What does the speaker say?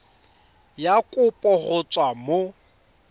ya kopo go tswa mo